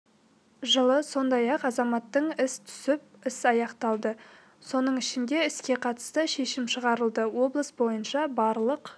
жылы сондай-ақ азаматтық іс түсіп іс аяқталды соның ішінде іске қатысты шешім шығарылды облыс бойынша барлық